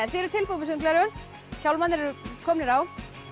þið eruð tilbúin með sundgleraugun hjálmarnir eru komnir á